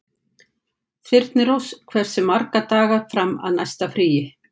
Þyrnirós, hversu margir dagar fram að næsta fríi?